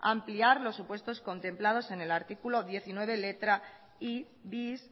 ampliar los supuestos contemplados en el artículo diecinueve letra i bis